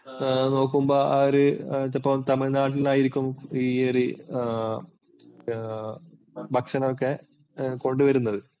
നോക്കുമ്പോൾ ആ ഒരി തമിഴ്നാട്ടിലായിരിക്കും ഈ ഒരി ആഹ് ഭക്ഷണമൊക്കെ കൊണ്ടുവരുന്നത്.